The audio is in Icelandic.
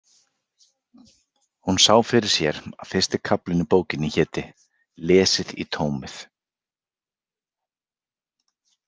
Hún sá fyrir sér að fyrsti kaflinn í bókinni héti: Lesið í tómið.